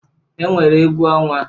E nwere egwu ọnwa.